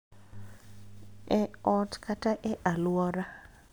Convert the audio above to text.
E ot kata e alwora